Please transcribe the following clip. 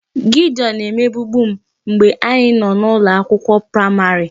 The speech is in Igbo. Gideon na-emegbubu m mgbe anyị nọ n'ụlọ akwụkwọ praịmarị